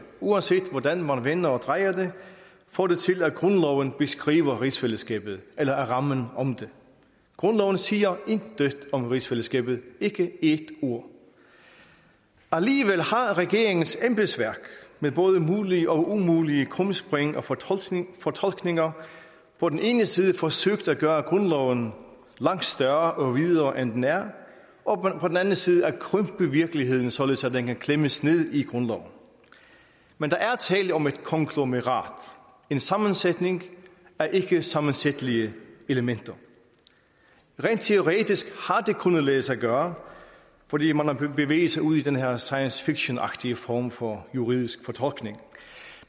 uanset hvordan man vender og drejer det få det til at grundloven beskriver rigsfællesskabet eller rammen om det grundloven siger intet om rigsfællesskabet ikke et ord alligevel har regeringens embedsværk med både mulige og umulige krumspring og fortolkninger fortolkninger på den ene side forsøgt at gøre grundloven langt større og videre end den er og på den anden side søgt at krympe virkeligheden således at den kan klemmes ned i grundloven men der er tale om et konglomerat en sammensætning af ikkesammensætlige elementer rent teoretisk har det kunnet lade sig gøre fordi man har bevæget sig ud i den her science fictionagtige form for juridisk fortolkning